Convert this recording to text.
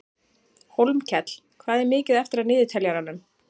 Hólmkell, hvað er mikið eftir af niðurteljaranum?